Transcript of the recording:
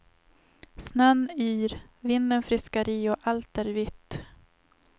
Snön yr, vinden friskar i och allt är vitt.